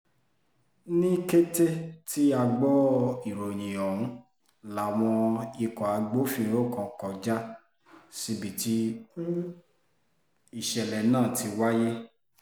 ní kété tí a gbọ́ ìròyìn ọ̀hún láwọn ikọ̀ agbófinró kan kọjá síbi tí ìṣẹ̀lẹ̀ náà ti wáyé